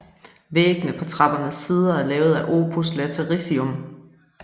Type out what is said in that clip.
Væggene på trappernes sider er lavet af opus latericium